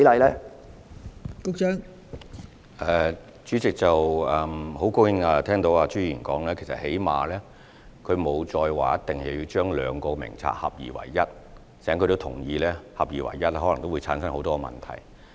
代理主席，很高興聽到朱議員再沒有要求將兩個名冊合二為一，他亦同意合二為一可能會產生很多問題。